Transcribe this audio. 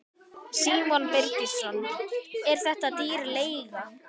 Símon Birgisson: Er þetta dýr leiga?